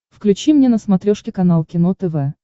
включи мне на смотрешке канал кино тв